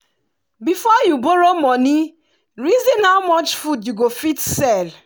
before you borrow moni reason how much food you go fit sell.